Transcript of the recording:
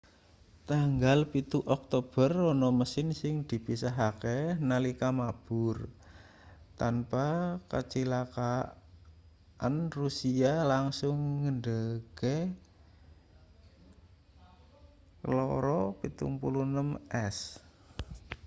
tanggal 7 oktober ana mesin sing dipisahke nalika mabur tanpa kacilakan rusia langsung ngendhegke ii-76s